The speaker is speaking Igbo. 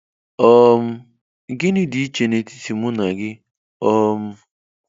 um Gịnị dị iche n'etiti mụ na gị um?